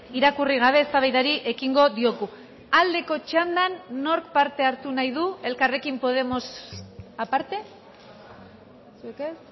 irakurri gabe eztabaidari ekingo diogu aldeko txandan nork parte hartu nahi du elkarrekin podemos aparte zuek ez